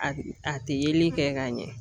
A a tɛ yeli kɛ ka ɲɛ.